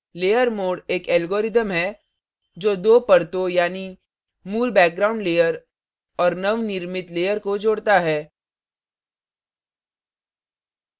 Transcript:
layer mode एक algorithm है जो दो परतों यानी मूल background layer और नव निर्मित layer को जोड़ता है